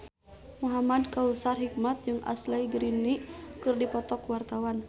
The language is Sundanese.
Muhamad Kautsar Hikmat jeung Ashley Greene keur dipoto ku wartawan